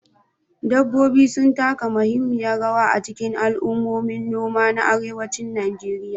Dabbobi sun taka muhimmiyar rawa a cikin al'ummomin noma na arewacin Najeriya.